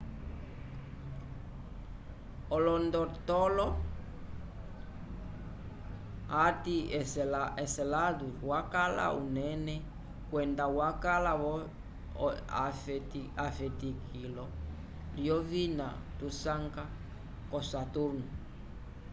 olondotolo ati enceladus wakala unene kwenda wakala vo efetikilo lyovina tusanga k'osaturnu